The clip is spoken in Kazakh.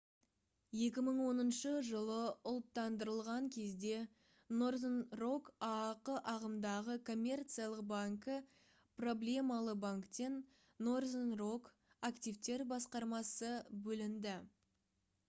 2010 жылы ұлттандырылған кезде northern rock аақ ағымдағы коммерциялық банкі проблемалы банктен northern rock активтер басқармасы бөлінді